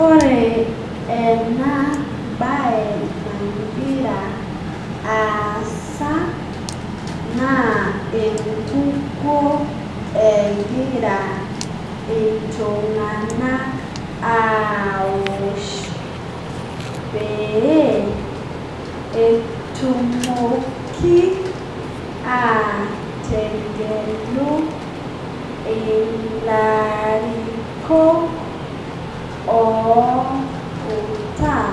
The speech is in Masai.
Ore ena baye nagira aasa naa enkukoo egira eltung'anak aoosh pee etumooki aitegeluu elarikook outaa